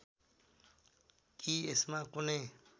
कि यसमा कुनै